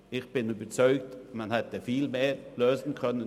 Ich bin überzeugt, dass man einen viel höheren Erlös hätte erzielen können.